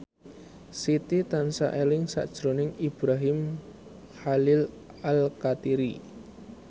Siti tansah eling sakjroning Ibrahim Khalil Alkatiri